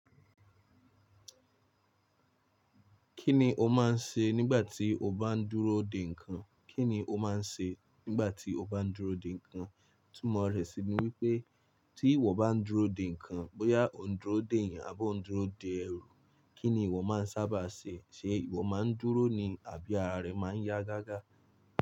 Kí ni o máa ń ṣe nígbà tí o bá ń dúró dè ńǹkan? Kí ni o máa ń ṣe nígbà tí o bá ń dúró dè ńǹkan? Itumọ́ rẹ́ sì ní wípé, tí ìwọ bá ń dúró dè ńǹkan, bóyá o ń dúró dè èèyàn, abi o ń dúró dè ẹrù. Kí ni ìwọ máa ń sábà ṣe? Ṣé ìwọ máa ń dúró ni àbí ara rẹ máa ń yá gágá?